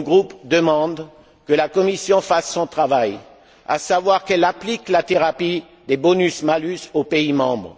Il demande que la Commission fasse son travail, à savoir qu'elle applique la thérapie des bonus malus aux pays membres.